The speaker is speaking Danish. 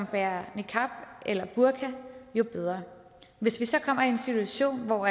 bærer niqab eller burka jo bedre hvis vi så kommer i en situation hvor